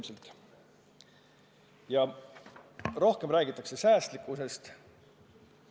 Ja aina rohkem räägitakse säästlikkusest.